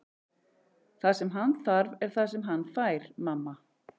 Það sem hann þarf er það sem hann fær, mamma.